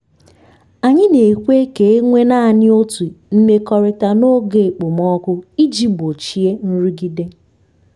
anyị na-ekwe ka e nwee naanị otu imekọrịta n’oge okpomọkụ iji gbochie nrụgide.